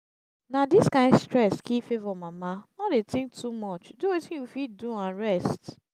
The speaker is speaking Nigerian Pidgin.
na dis kyn stress kill favour mama no dey think too much do wetin you fit do and rest